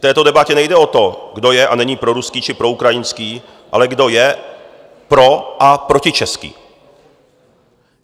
V této debatě nejde o to, kdo je a není proruský či proukrajinský, ale kdo je pro- a protičeský.